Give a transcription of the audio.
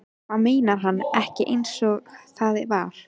Hvað meinar hann ekki einsog það var?